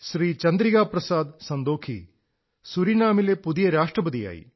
ചന്ദ്രികാ പ്രസാദ് സന്തോഖീ സുരീനാമിലെ പുതിയ രാഷ്ട്രപതിയായി